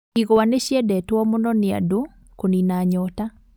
Igwa nĩciendetwo mũno nĩandũ kũnina nyota